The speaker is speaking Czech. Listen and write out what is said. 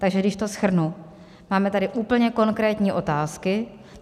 Takže když to shrnu, máme tady úplně konkrétní otázky.